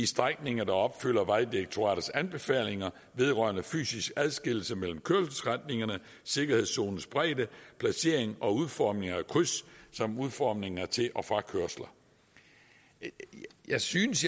strækninger der opfylder vejdirektoratets anbefalinger vedrørende fysisk adskillelse mellem kørselsretningerne sikkerhedszonens bredde placering og udformning af kryds samt udformningen af til og frakørsler jeg synes